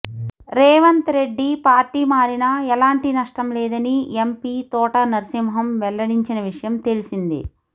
Revanth Reddy party మారినా ఎలాంటి నష్టం లేదని ఎంపీ తోట నర్సింహం వెల్లడించిన విషయం తెలిసిందే